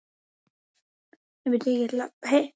Viku síðar.